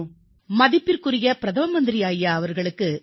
வணக்கம் மதிப்பிற்குரிய பிரதம மந்திரி அவர்களே